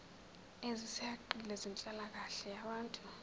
ezisihaqile zenhlalakahle yabantu